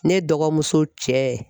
Ne dɔgɔmuso cɛ